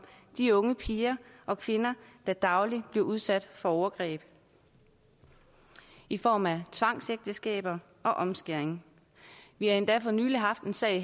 de unge piger og kvinder der dagligt bliver udsat for overgreb i form af tvangsægteskaber og omskæring vi har endda for nylig haft en sag